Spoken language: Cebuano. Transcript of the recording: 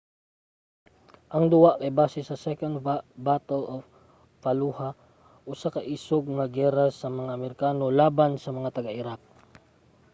ang duwa kay base sa second battle of fallujah usa ka isog nga giyera sa mga amerikano laban sa mga taga-iraq